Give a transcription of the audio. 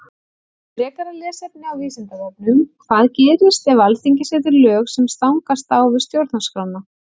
Frekara lesefni á Vísindavefnum Hvað gerist ef Alþingi setur lög sem stangast á við Stjórnarskrána?